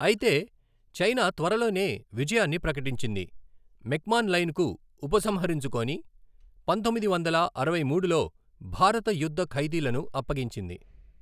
అయితే, చైనా త్వరలోనే విజయాన్ని ప్రకటించింది, మెక్మాన్ లైన్కు ఉపసంహరించుకొని, పంతొమ్మిది వందల అరవై మూడులో భారత యుద్ధ ఖైదీలను అప్పగించింది.